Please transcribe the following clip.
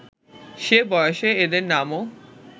সে বয়সে এঁদের নামও